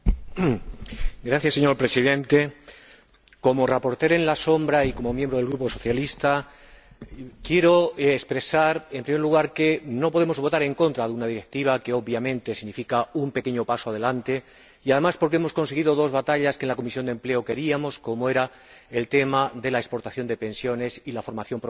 Señor Presidente, como ponente alternativo y como miembro del Grupo Socialista, quiero expresar, en primer lugar, que no podemos votar en contra de una directiva que obviamente significa un pequeño paso adelante, además de que hemos ganado dos batallas que en la Comisión de Empleo y Asuntos Sociales perseguíamos, como era el tema de la exportación de pensiones y la formación profesional de los emigrantes.